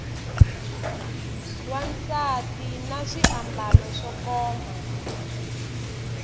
wansati na swiambalo swo koma